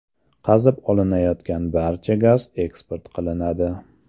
Qazib olinayotgan barcha gaz eksport qilinadi.